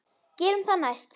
Gerum það næst.